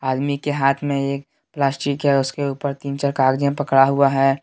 आदमी के हाथ में एक प्लास्टिक है उसके ऊपर तीन चार कागजे पकड़ा हुआ है।